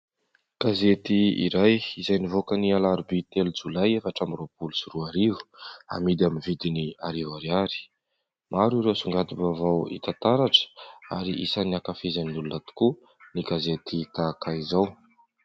Gazety iray izay nivoaka ny alarobia telo jolay efatra amby roapolo sy roarivo, amidy amin'ny vidiny arivo ariary. Maro ireo songadim-baovao hita taratra ary isan'ny ankafizin'ny olona tokoa ny gazety tahaka izao.